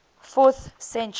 fourth century